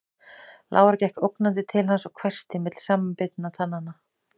Lára gekk ógnandi til hans og hvæsti milli samanbitinna tanna